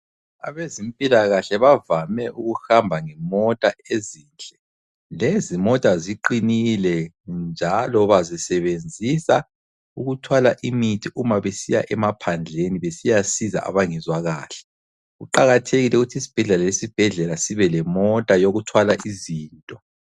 Abezempilakahle bavame ukuhamba ngemota ezinhle. Lezimota ziqinile njalo bazisebenzisa ukuthwala imithi uma besiya emaphandleni besiyasiza abangezwa kahle. Kuqakathekile ukuthi isibhedlela lesibhedlela sibelemota yokuthwala izinto.